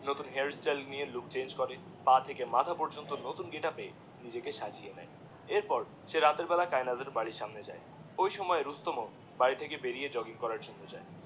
নতুন হেয়ারস্টাইল নিয়ে look change করে, পা থেকে মাথা পর্যন্ত নতুন গেটাপ এ নিজেকে সাজিয়ে নেয়, এর পর সে রাতের বেলায় কায়েনাথের বাড়িরই সামনে যায় ওই সময় রুস্তম বাড়ি থেকে বেরিয়ে জগিং করার জন্যে যায়।